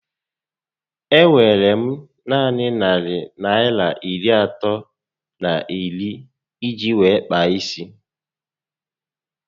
E nwere m naanị narị Naịra iri atọ na iri iji wéé kpaa isi